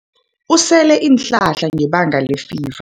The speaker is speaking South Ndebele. Usele iinhlahla ngebanga lefiva.